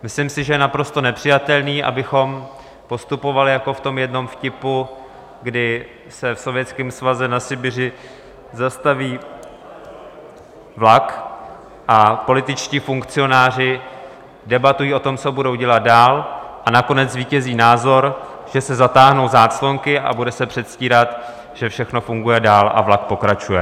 Myslím si, že je naprosto nepřijatelné, abychom postupovali jako v tom jednom vtipu, kdy se v Sovětském svazu na Sibiři zastaví vlak, a političtí funkcionáři debatují o tom, co budou dělat dál, a nakonec zvítězí názor, že se zatáhnou záclonky a bude se předstírat, že všechno funguje dál a vlak pokračuje.